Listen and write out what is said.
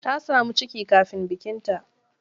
Ta samu ciki kafin bikinta.